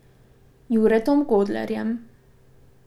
Juretom Godlerjem ...